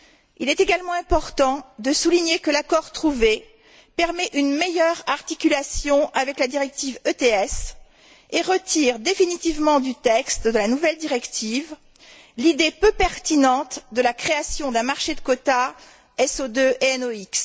Il est également important de souligner que l'accord trouvé permet une meilleure articulation avec la directive ETS et retire définitivement du texte de la nouvelle directive l'idée peu pertinente de la création d'un marché de quotas SO2 et NOX.